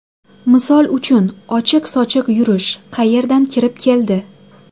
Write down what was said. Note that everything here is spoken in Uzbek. Misol uchun, ochiq-sochiq yurish qayerdan kirib keldi?!